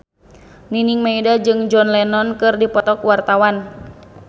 Nining Meida jeung John Lennon keur dipoto ku wartawan